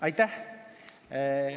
Aitäh!